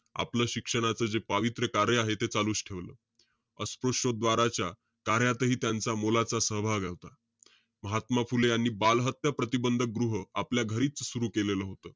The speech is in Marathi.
आपलं शिक्षणाचं जे पावित्र्य कार्य आहे ते चालूच ठेवलं. अस्पृशोद्वाराच्या कार्यातही त्यांचा मोलाचा सहभाग होता. महात्मा फुले यांनी, बालहत्या प्रतिबंधक गृह आपल्या घरीच सुरु केलेलं होतं.